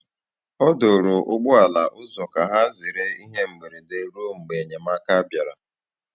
Ọ dòrò̀ ụgbọ̀ala ụzọ ka hà zerè ihe mberede ruo mgbe enyemáka bịara.